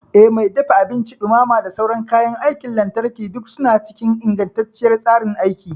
Eh, Mai dafa abinci, dumama da sauran kayan aikin lantarki duk suna cikin ingantacciyar tsarin aiki.